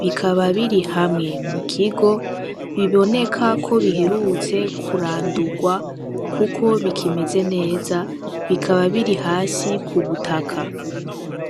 bikaba biri hamwe mu kigo, biboneka ko biherutse kurandurwa kuko bikimeze neza. Bikaba biri hasi ku butaka.